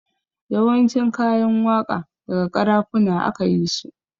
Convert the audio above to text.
Yawancin kayan waƙa daga ƙarafuna aka yisu